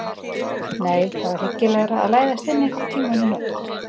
Nei, það var hyggilegra að læðast inn einhvern tíma í nótt.